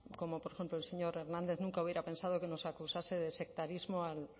como por ejemplo el señor hernández nunca hubiera pensado que nos acusase de sectarismo al